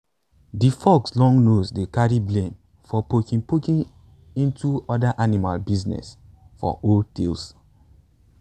de fox long nose dey carry blame for poking poking into other animal business for old tales